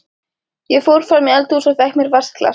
Ég fór fram í eldhús og fékk mér vatnsglas.